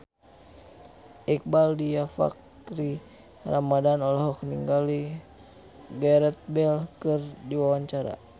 Iqbaal Dhiafakhri Ramadhan olohok ningali Gareth Bale keur diwawancara